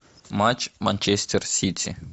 матч манчестер сити